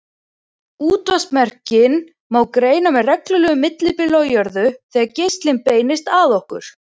Útvarpsmerkin má greina með reglulegu millibili á jörðu þegar geislinn beinist að okkur.